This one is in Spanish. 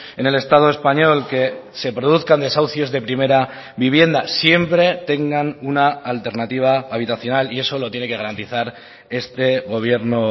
en el estado español que se produzcan desahucios de primera vivienda siempre tengan una alternativa habitacional y eso lo tiene que garantizar este gobierno